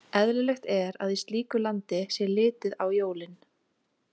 Eðlilegt er að í slíku landi sé litið á jólin.